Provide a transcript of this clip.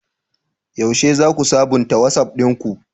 Yaushe za ku sabunta Wasof ɗinku?